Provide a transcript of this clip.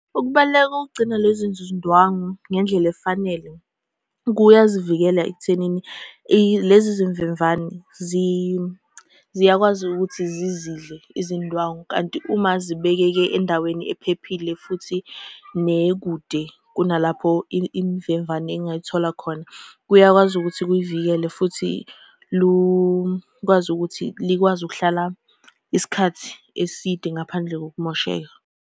Ukubaluleka kokugcina lezi zinzindwangu ngendlela efanele, kuyazivikela ekuthenini lezi zimvemvane ziyakwazi ukuthi zizidle izindwangu, kanti uma zibekeke endaweni ephephile, futhi nekude kunalapho imvemvane ey'ngay'thola khona, kuyakwazi ukuthi kuyivikele futhi lukwazi ukuthi likwazi ukuhlala isikhathi eside ngaphandle kokumosheka.